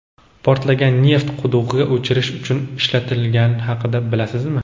portlagan neft qudug‘ini o‘chirish uchun ishlatishgani haqida bilasizmi?.